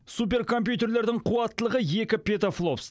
суперкомпьютердерлің қуаттылығы екі петафлопс